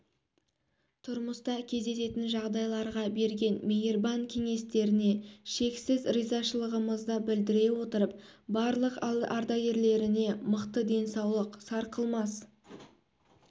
тұрмыста кездесетін жағдайларға берген мейірбан кеңестеріне шексіз ризашылығымызды білдіре отырып барлық ардагерлеріне мықты денсаулық сарқылмас